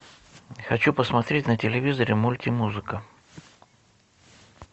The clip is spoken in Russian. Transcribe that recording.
хочу посмотреть на телевизоре мульти музыка